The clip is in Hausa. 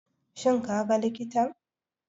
Shin kaga likitan?